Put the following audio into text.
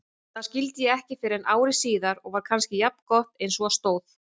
Það skildi ég ekki fyrren ári síðar og var kannski jafngott einsog á stóð.